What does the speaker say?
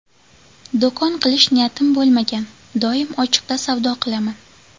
Do‘kon qilish niyatim bo‘lmagan, doim ochiqda savdo qilaman.